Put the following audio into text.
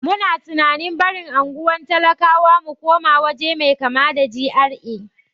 Muna tunanin barin unguwar talakawa mu koma waje mai kama da GRA.